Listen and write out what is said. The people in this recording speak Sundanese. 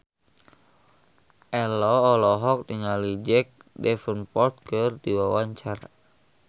Ello olohok ningali Jack Davenport keur diwawancara